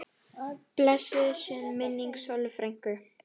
Blessuð sé minning Sollu frænku.